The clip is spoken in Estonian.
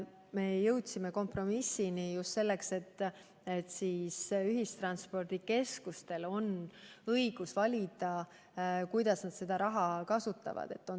Me jõudsime kompromissini, nii et ühistranspordikeskustel on õigus valida, kuidas nad seda raha kasutavad.